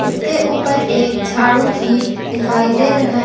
इसके ऊपर एक झाड़ू भी दिखाई दे रहा है।